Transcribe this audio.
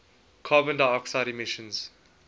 carbon dioxide emissions